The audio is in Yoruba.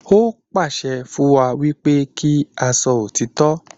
Ó pàṣẹ fún wa wípé kí a sọ òtítọ́